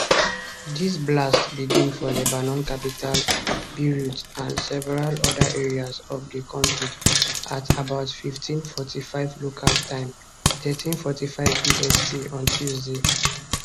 di blasts begin for lebanon capital beirut and several oda areas of di country at about 1545 local time 1345 bst on tuesday